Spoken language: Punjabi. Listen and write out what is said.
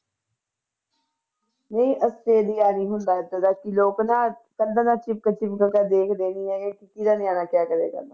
ਨਹੀਂ ਆਸਟ੍ਰੇਲੀਆ ਨੀ ਹੁੰਦਾ ਏਦਾਂ ਦਾ ਕਿ ਲੋਕ ਨਾ ਕੰਧਾਂ ਨਾਲ ਚਿਪਕ ਚਿਪਕ ਕੇ ਦੇਖ ਦੇਖਦੇ ਹੈਗੇ ਕਿਹਦਾ ਨਿਆਣਾ ਕਿਆ ਕਰਿਆ ਕਰਦਾ।